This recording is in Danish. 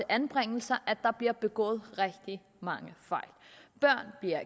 anbringelser bliver begået rigtig mange fejl børn bliver